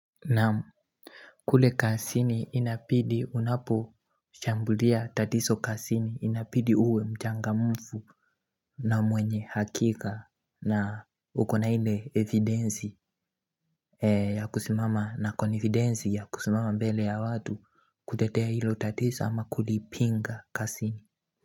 Naam kule kasini inapidi unaposhambulia tatiso kasini inapidi uwe mchangamfu na mwenye hakika na ukona hile evidensi ya kusimama na konividensi ya kusimama mbele ya watu kutetea hilo tatiso ama kulipinga kasini.